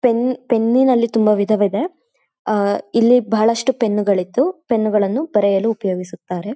Pen ಪೆನ್ನಿ ನಲ್ಲಿ ತುಂಬಾ ವಿಧವಿದೆ ಆಹ್ಹ್ ಇಲ್ಲಿ ಬಹಳಷ್ಟ್ಟು ಪೆನ್ನು ಗಳು ಇದ್ದು ಪೆನ್ನು ಗಳನ್ನು ಬರೆಯುದಕ್ಕೆ ಉಪಯೋಗಿಸುತ್ತಾರೆ.